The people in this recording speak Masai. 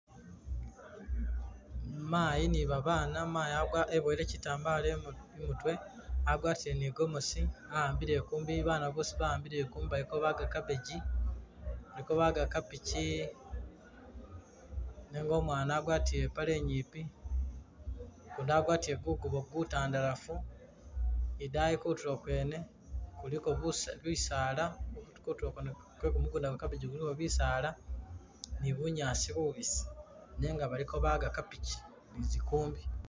Mayi ni babaana mayi agwa iboyele kitambala imutwe, agwatile ni i'gomosi ahambile i'kumbi baana boosi baambile i'kumbi bali kabaga cabbage, baliko baga cabbage nenga umwana agwatile ipaale inyipi, gundi agalwatile gugubo gutandalafu, idaayi kutulo kwene kuliko busa bisala, kutulo kwene kwe gumugunda gwa cabbage kuliko bisala ni bunyaasi bubisi nenga baliko baga cabbage ni zi kumbi.